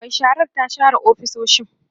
Mai sharar ta share ofisoshin